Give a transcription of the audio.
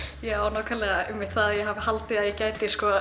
já nákvæmlega einmitt það að ég hafi haldið að ég gæti